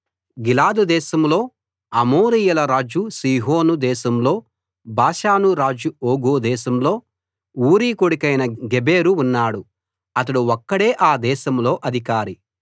గిలాదు దేశంలో అమోరీయుల రాజు సీహోను దేశంలో బాషాను రాజు ఓగు దేశంలో ఊరీ కొడుకైన గెబెరు ఉన్నాడు అతడు ఒక్కడే ఆ దేశంలో అధికారి